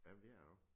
Jamen det er det også